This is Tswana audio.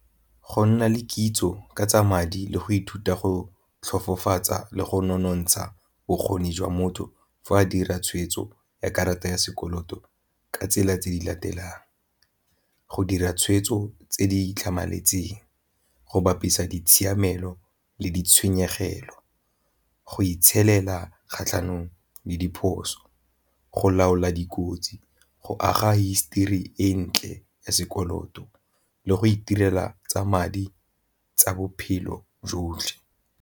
Go nna le kitso ka tsa madi le go ithuta go tlhofofatsa le go nonontsha bokgoni jwa motho fa a dira tshwetso ya karata ya sekoloto ka tsela tse di latelang, go dira tshweetso tse di tlhamaletseng go bapisa ditshiamelo le go itshelela kgatlhanong le diphoso, go laola dikotsi, go aga histori e ntle ya sekoloto le go itirela tsa madi tsa bophelo jotlhe.